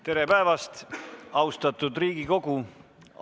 Tere päevast, austatud Riigikogu!